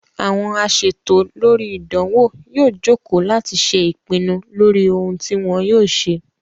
Àwọn asètò lórí ìdánwò yóò joko láti ṣe ìpinnu lórí ohun tí wọ́n yóò ṣe